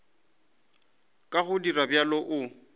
ka go dira bjalo o